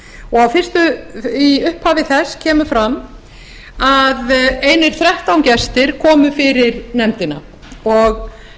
og í upphafi þess kemur fram að einir þrettán gestir komu fyrir nefndina og